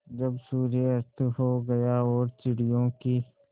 जब सूर्य अस्त हो गया और चिड़ियों की